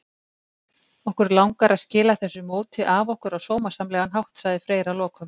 Okkur langar að skila þessu móti af okkur á sómasamlegan hátt, sagði Freyr að lokum.